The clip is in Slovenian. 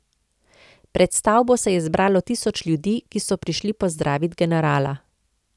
Pred stavbo se je zbralo tisoč ljudi, ki so prišli pozdravit generala.